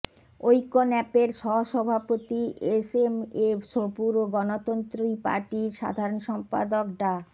ঐক্য ন্যাপের সহসভাপতি এসএমএ সবুর ও গণতন্ত্রী পার্টির সাধারণ সম্পাদক ডা